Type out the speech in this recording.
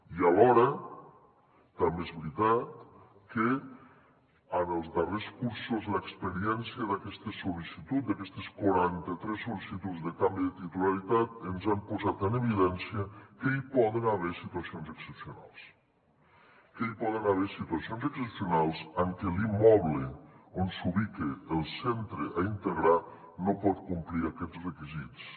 i alhora també és veritat que en els darrers cursos l’experiència d’aquestes sol·licituds d’aquestes quaranta tres sol·licituds de canvi de titularitat ens han posat en evidència que hi poden haver situacions excepcionals que hi poden haver situacions excepcionals en què l’immoble on s’ubica el centre a integrar no pot complir aquests requisits